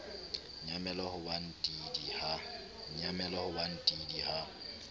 nyamela ho ba ntidi ha